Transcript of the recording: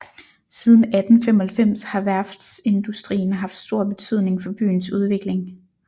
Siden 1895 har værftsindustrien haft stor betydning for byens udvikling